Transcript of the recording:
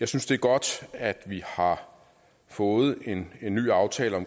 jeg synes det er godt at vi har fået en ny aftale om